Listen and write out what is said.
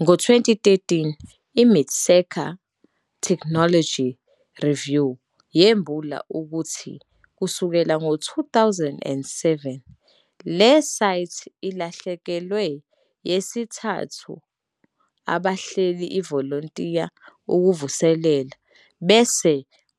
Ngo 2013, mit sika Technology Review yembula ukuthi kusukela ngo-2007, le site ilahlekelwe yesithathu abahleli ivolontiya ukuvuselela bese